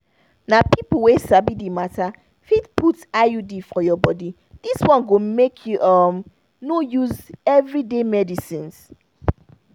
na people wey sabi the matter fit put iud for your body this one go make you um no use everyday medicines.